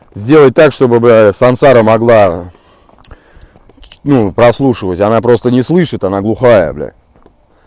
сделай так чтобы сансара могла ну прослушивать она просто не слышит она глухая бля